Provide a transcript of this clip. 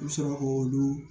I bɛ sɔrɔ k'olu